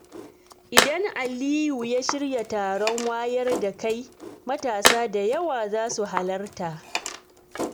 Idan Aliyu ya shirya taron wayar da kai, matasa da yawa za su halarta.